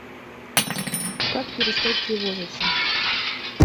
как перестать тревожиться